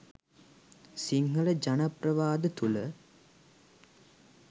සිංහල ජන ප්‍රවාද තුල